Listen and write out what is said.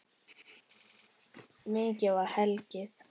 Mikið var hlegið.